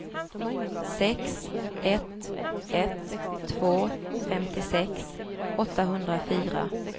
sex ett ett två femtiosex åttahundrafyra